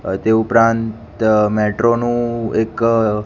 અ તે ઉપરાંત મેટ્રો નું એક અ--